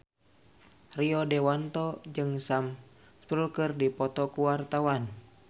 Rio Dewanto jeung Sam Spruell keur dipoto ku wartawan